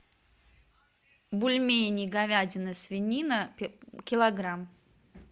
бульмени говядина свинина килограмм